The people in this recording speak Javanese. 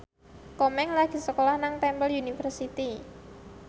Komeng lagi sekolah nang Temple University